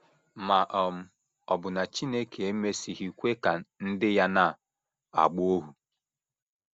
Ma um ọ̀ bụ na Chineke emesịghị kwe ka ndị ya na - agba ohu?